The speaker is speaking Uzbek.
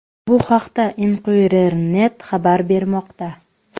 Bu haqda Inquirer.net xabar bermoqda .